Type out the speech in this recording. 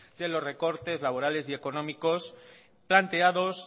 de los recortes laborales y económicos planteados